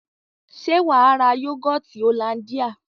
Se waa ra yogoti hollandia?